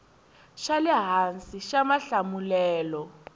xa le hansi xa mahlamulelo